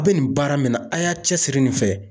Aw be nin baara min na a' y'a cɛsiri nin fɛ